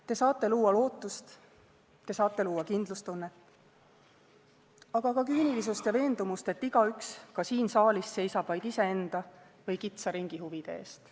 Te saate luua lootust, te saate luua kindlustunnet, aga ka küünilisust ja veendumust, et igaüks, ka siin saalis, seisab vaid iseenda või kitsa ringi huvide eest.